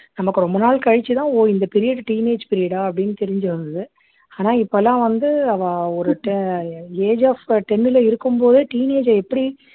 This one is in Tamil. நமக்கு ரொம்ப நாள் கழிச்சு தான் ஒ இந்த period teenage period ஆ அப்படின்னு தெரிஞ்சு வந்துது ஆனா இப்போ எல்லாம் வந்து அவா ஒரு age of ten ல இருக்கும் போதே teenage அ எப்படி